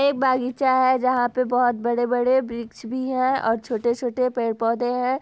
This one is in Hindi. ये एक बागीचा है जहां पे बहोत बड़े-बड़े वृक्ष भी है और-छोटे छोटे पेड़ पौधे है।